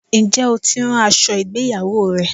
Ǹjẹ́ o tí ń rán aṣọ ìgbéyawó rẹ?